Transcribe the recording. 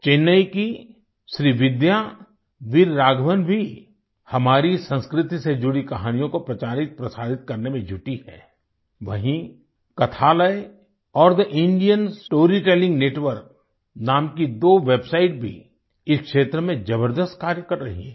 चेन्नई की श्रीविद्या वीर राघवन भी हमारी संस्कृति से जुड़ी कहानियों को प्रचारित प्रसारित करने में जुटी है वहीँ कथालय और the Indian story telling network नाम की दो वेबसाइट भी इस क्षेत्र में जबरदस्त कार्य कर रही हैं